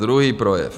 Druhý projev.